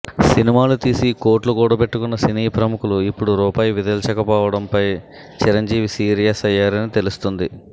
సినిమాలు తీసి కోట్లు కూడబెట్టుకున్న సినీ ప్రముఖులు ఇప్పుడు రూపాయి విదిల్చకపోవడంపై చిరంజీవి సీరియస్ అయ్యారని తెలుస్తుంది